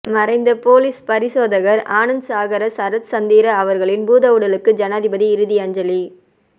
மறைந்த பொலிஸ் பரிசோதகர் ஆனந்த சாகர சரத்சந்திர அவர்களின் பூதவுடலுக்கு ஜனாதிபதி இறுதி அஞ்சலி